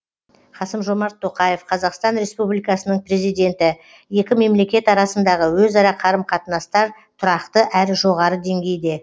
қасым жомарт тоқаев қазақстан республикасының президенті екі мемлекет арасындағы өзара қарым қатынастар тұрақты әрі жоғары деңгейде